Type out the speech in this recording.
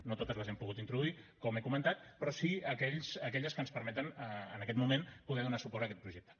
no totes les hem pogut introduir com he comentat però sí aquelles que ens permeten en aquest moment poder donar suport a aquest projecte